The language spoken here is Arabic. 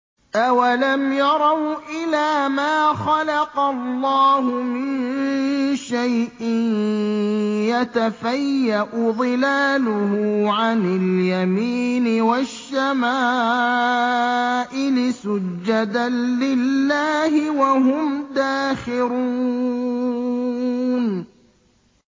أَوَلَمْ يَرَوْا إِلَىٰ مَا خَلَقَ اللَّهُ مِن شَيْءٍ يَتَفَيَّأُ ظِلَالُهُ عَنِ الْيَمِينِ وَالشَّمَائِلِ سُجَّدًا لِّلَّهِ وَهُمْ دَاخِرُونَ